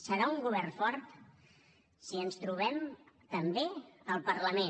serà un govern fort si ens trobem també al parlament